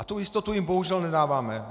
A tu jistotu jim bohužel nedáváme.